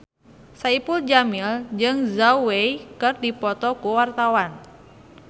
Saipul Jamil jeung Zhao Wei keur dipoto ku wartawan